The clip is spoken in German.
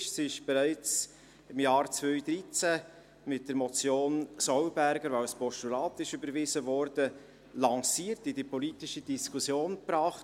sie wurde bereits im Jahr 2013 mit der Motion Sollberger , die als Postulat überwiesen wurde, in die politische Diskussion eingebracht.